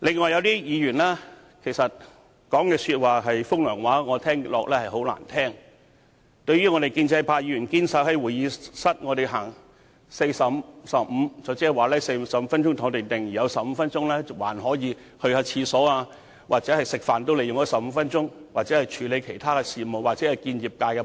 有些議員則在說風涼話，我覺得很難聽，內容是關於建制派議員堅守在會議廳奉行 "45、15" 的原則，即45分鐘留在會議廳，另15分鐘用來上洗手間、用膳、處理其他事務或與業界會面。